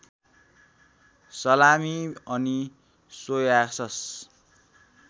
सलामी अनि सोयासस